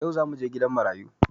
Yau zamuje gidan marayu